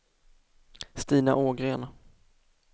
Stina Ågren